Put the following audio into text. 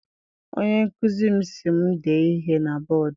Onye nkụzi m si m dee ihe na bọdu.